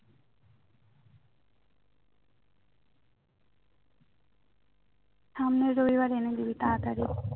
সামনে রবিবার এনে দিবি তাড়াতাড়ি